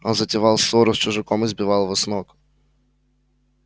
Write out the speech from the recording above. он затевал ссору с чужаком и сбивал его с ног